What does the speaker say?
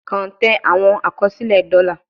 Kan tẹ awọn akọsilẹ dola